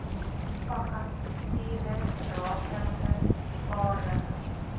vakatures rakende vaardige